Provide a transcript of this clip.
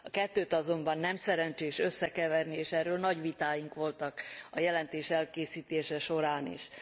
A kettőt azonban nem szerencsés összekeverni, és erről nagy vitáink voltak a jelentés elkészítése során is.